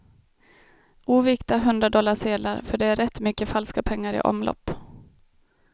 Ovikta hundradollarsedlar, för det är rätt mycket falska pengar i omlopp.